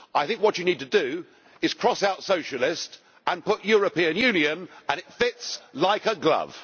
I think what you need to do is cross out socialist' and put European Union' and it fits like a glove.